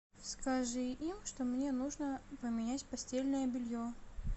скажи им что мне нужно поменять постельное белье